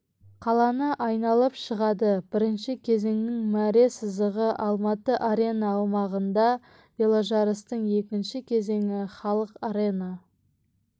қаланы айналып шығады бірінші кезеңнің мәре сызығы алматы арена аумағында веложарыстың екінші кезеңі халық арена